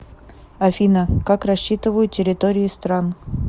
афина как рассчитывают территории стран